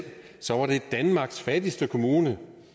danmarks fattigste kommune